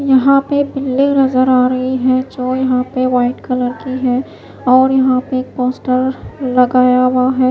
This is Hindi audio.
यहां पे बिल्डिंग नजर आ रही है जो यहां पे वाइट कलर की है और यहां पे पोस्टर लगाया हुआ है।